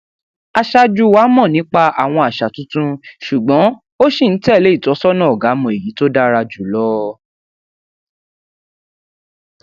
aṣáájú wa mọ nípa àwọn àṣà tuntun ṣùgbọn ó ṣì ń tẹlé ìtọsọnà ọgá mọ èyí tó dára jù lọ